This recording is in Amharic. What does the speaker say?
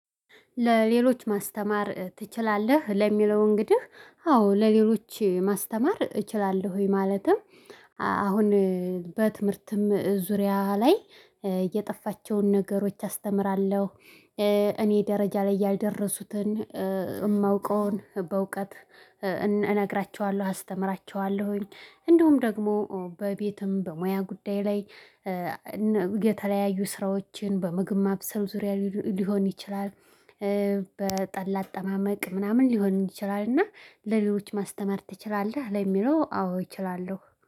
ለሌሎች ማስተማር ትችላለህ? ለሚለው እንግዲህ አዎ! ለሌሎች ማስተማር እችላለሁኝ። ማለትም አሁን በትምህርትም ዙሪያ ላይ የጠፋቸውን ነገሮች አስተምራለሁ። እ እኔ ደረጃ ላይ ያደረሱትን የማውቀውን በእውቀት እነግራችኋለሁ፤ አስተምራችኋለሁኝ። እንደውም ደግሞ በቤትም በሙያ ጉዳይ ላይ የተለያዩ ስራዎችን በምግብ ማብሰል ዙሪያ ሊሆን ይችላል። በጠላ አጠማመቅ ምናምን ሊሆን ይችላል። እና ለሌሎች ማስተማር ትችላለህ? ለሚለው አዎ እችላለሁ።